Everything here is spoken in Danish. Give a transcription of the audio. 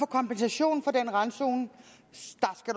kompensation for den randzone